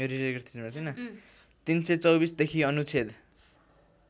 ३२४ देखि अनुच्छेद